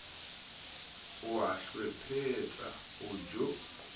o a hlwephetsa o tjho